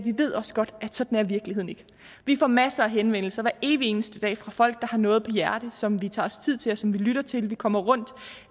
ved også godt at sådan er virkeligheden ikke vi får masser af henvendelser hver evig eneste dag fra folk der har noget på hjerte som vi tager os tid til og som vi lytter til vi kommer rundt